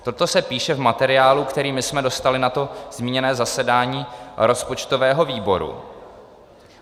Toto se píše v materiálu, který my jsme dostali na to zmíněné zasedání rozpočtového výboru.